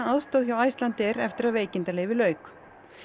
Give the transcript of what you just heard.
aðstoð hjá Icelandair eftir að veikindaleyfi lauk